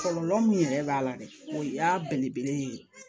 Kɔlɔlɔ min yɛrɛ b'a la dɛ o y'a belebele ye